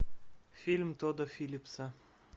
фильм тодда филлипса